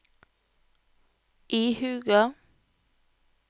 ihuga